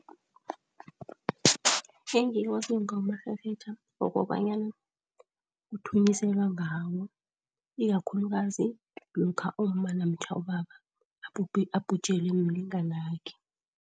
Engikwaziko ngamarherhetjha kukobanyana kuthunyiselwa ngawo, ikakhulukazi lokha umma namtjha ubaba abhujelwe mlinganakhe.